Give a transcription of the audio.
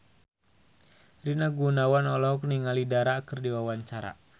Rina Gunawan olohok ningali Dara keur diwawancara